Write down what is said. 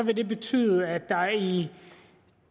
det betyde at der i